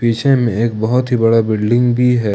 पीछे में एक बहुत ही बड़ा बिल्डिंग भी है।